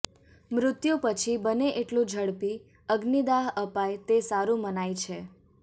મૃત્યું પછી બને એટલું ઝડપી અગ્નિદાહ અપાય તે સારૂ મનાય છે